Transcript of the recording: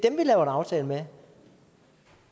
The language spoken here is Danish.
en aftale med